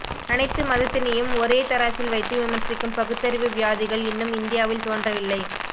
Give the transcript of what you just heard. அணைத்து மதத்தினையும் ஒரே தராசில் வைத்து விமர்சிக்கும் பகுத்தறிவு வியாதிகள் இன்னும் இந்தியாவில் தோன்றவில்லை